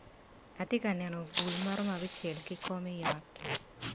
Ati ka neno bul maromo abicel ki kom i ot.